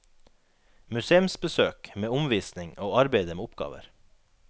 Museumsbesøk med omvisning og arbeide med oppgaver.